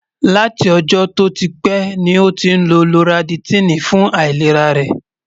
látí ọ̀jó tó típè ní ọ tín ló loratidini fún àìlèrá rè